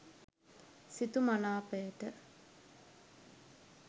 සිතු මනාපයට